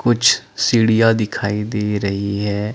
कुछ सीढिया दिखाई दे रही है ।